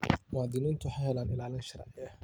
Muwaadiniintu waxay helaan ilaalin sharci.